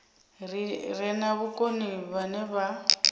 re na vhukoni vhane vha